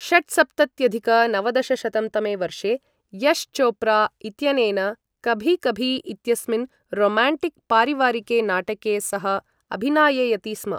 षट्सप्तत्यधिक नवदशशतं तमे वर्षे, यश् चोप्रा इत्यनेन कभी कभी इत्यस्मिन् रोम्याण्टिक् पारिवारिके नाटके सः अभिनाययति स्म।